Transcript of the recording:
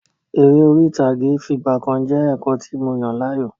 Eré orí ìtàgé fìgbàkan jẹ́ ẹ̀kọ́ tí mo yàn láàyò.